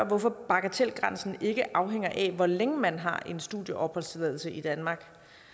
hvorfor bagatelgrænsen ikke afhænger af hvor længe man har en studieopholdstilladelse i danmark